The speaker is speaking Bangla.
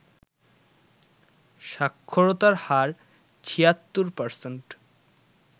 সাক্ষরতার হার ৭৬%